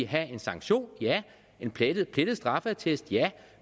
have en sanktion og en plettet straffeattest